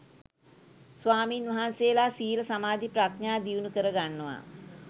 ස්වාමීන් වහන්සේලා සීල සමාධි ප්‍රඥා දියුණු කරගන්නවා